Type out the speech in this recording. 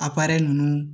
A nunnu